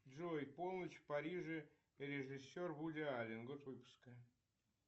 джой полночь в париже режиссер вуди аллен год выпуска